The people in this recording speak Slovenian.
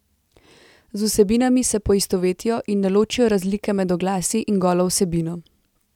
Z vsebinami se poistovetijo in ne ločijo razlike med oglasi in golo vsebino.